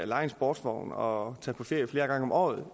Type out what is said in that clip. leje en sportsvogn og tage på ferie flere gange om året